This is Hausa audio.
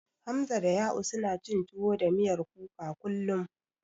Hamza da Ya'u, suna cin tuwo da miyar kuka kullum.